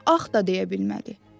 Ax da deyə bilmədi.